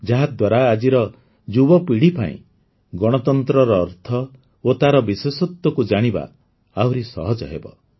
ଯାହାଦ୍ୱାରା ଆଜିର ଯୁବପିଢ଼ୀ ପାଇଁ ଗଣତନ୍ତ୍ରର ଅର୍ଥ ଓ ତାର ବିଶେଷତ୍ୱକୁ ଜାଣିବା ଆହୁରି ସହଜ ହେବ